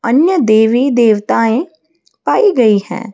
अन्य देवी देवताएँ पाई गई हैं।